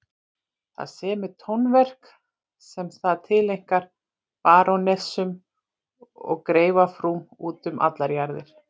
Það semur tónverk sem það tileinkar barónessum og greifafrúm út um allar jarðir.